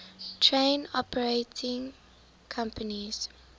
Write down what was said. train operating companies